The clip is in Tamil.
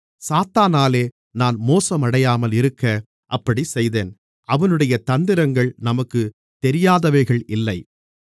சாத்தானாலே நாம் மோசமடையாமல் இருக்க அப்படிச் செய்தேன் அவனுடைய தந்திரங்கள் நமக்குத் தெரியாதவைகள் இல்லை